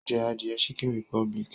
Ó ń jẹ adìẹ chicken republic